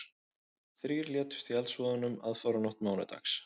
Þrír létust í eldsvoðanum aðfararnótt mánudags